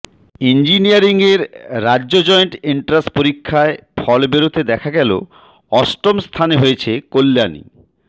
ইঞ্জিনিয়ারিংয়ের রাজ্য joint entrance পরীক্ষার ফল বেরোতে দেখা গেল অষ্টম স্থানে হয়েছে কল্যাণী